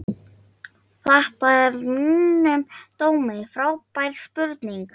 Þetta er að mínum dómi frábær spurning.